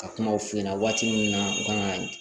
Ka kumaw f'i ɲɛna waati min na u kan ka